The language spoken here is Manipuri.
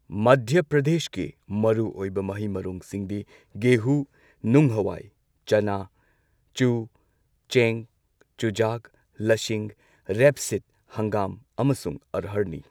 ꯃꯙ꯭ꯌ ꯄ꯭ꯔꯗꯦꯁꯀꯤ ꯃꯔꯨꯑꯣꯏꯕ ꯃꯍꯩ ꯃꯔꯣꯡꯁꯤꯡꯗꯤ ꯒꯦꯍꯨ, ꯅꯨꯡ ꯍꯋꯥꯏ, ꯆꯅꯥ, ꯆꯨ, ꯆꯦꯡ, ꯆꯨꯖꯥꯛ, ꯂꯁꯤꯡ, ꯔꯦꯞꯁꯤꯗ, ꯍꯪꯒꯥꯝ ꯑꯃꯁꯨꯡ ꯑꯔꯍꯔꯅꯤ꯫